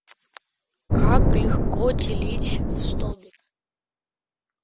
как легко делить в столбик